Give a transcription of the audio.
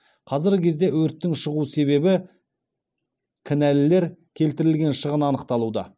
қазіргі кезде өрттің шығу себебі кінәлілер келтірілген шығын анықталуда